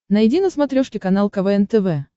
найди на смотрешке канал квн тв